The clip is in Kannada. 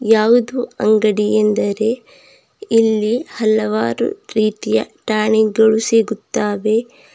ಯಾವುದು ಅಂಗಡಿ ಎಂದರೆ ಇಲ್ಲಿ ಹಲವಾರು ರೀತಿಯ ಟಾನಿಕ್ ಗಳು ಸಿಗುತ್ತವೆ.